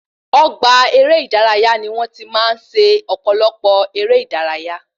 Ọgbà eré ìdárayá ni wọn tí máa ń ṣe ọpọlọpọ èrè ìdárayá